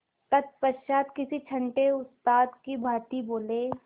तत्पश्चात किसी छंटे उस्ताद की भांति बोले